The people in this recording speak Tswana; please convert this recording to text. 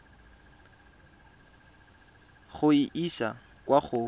go e isa kwa go